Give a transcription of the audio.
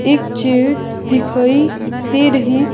एक चेयर दिखाई दे रही--